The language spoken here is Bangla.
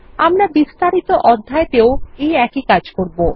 আমরা বিস্তারিত অধ্যায় তেও এই একই কাজ করব